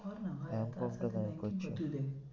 কর না ভাই M com টা না হয় করছি।